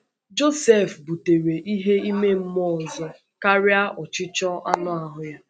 Josef butere ihe ime mmụọ ọzọ karịa ọchịchọ anụ ahụ́ ya.